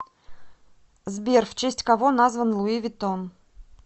сбер в честь кого назван луи виттон